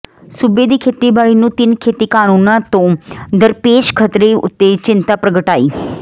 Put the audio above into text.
ਸੂਬੇ ਦੀ ਖੇਤੀਬਾੜੀ ਨੂੰ ਤਿੰਨ ਖੇਤੀ ਕਾਨੂੰਨਾਂ ਤੋਂ ਦਰਪੇਸ਼ ਖ਼ਤਰੇ ਉਤੇ ਚਿੰਤਾ ਪ੍ਰਗਟਾਈ